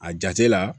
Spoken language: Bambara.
A jate la